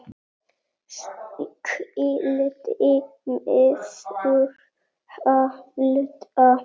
Skyldi maður halda.